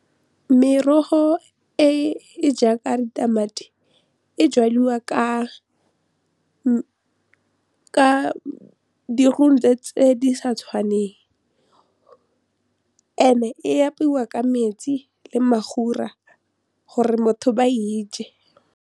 Merogo e e jaaka ditamati e jaliwa ka di tse di sa tshwaneng and-e w apaiwa ka metsi le mafura gore motho ba e je.